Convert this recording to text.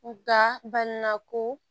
Nka banana ko